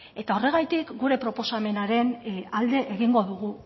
eta horregatik gure proposamenaren alde egingo dugu